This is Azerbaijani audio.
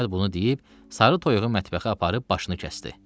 Əhməd bunu deyib, sarı toyuğu mətbəxə aparıb başını kəsdi.